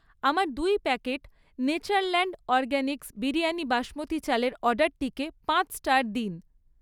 আমার দুই packet Natureland Organics biryani basmati চালের অর্ডারটিকে পাঁচ স্টার দিন।